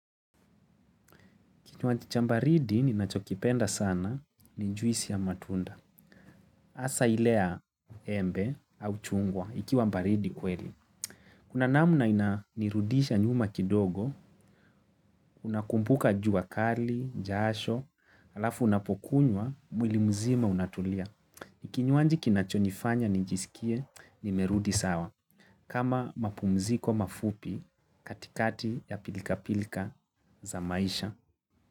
Kinywaji cha baridi ninachokipenda sana ni juisi ya matunda. Hasa ile ya embe au chungwa ikiwa baridi kweli. Kuna namna ina nirudisha nyuma kidogo, unakumbuka jua kali, jasho, halafu unapo kunywa, mwili mzima unatulia. Kinywaji kinachonifanya nijisikie nimerudi sawa. Kama mapumziko mafupi katikati ya pilikapilika za maisha.